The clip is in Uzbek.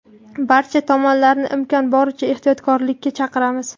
Barcha tomonlarni imkon boricha ehtiyotkorlikka chaqiramiz.